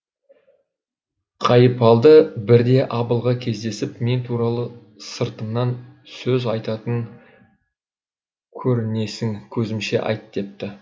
қайыпалды бірде абылға кездесіп мен туралы сыртымнан сөз айтатын көрінесің көзімше айт депті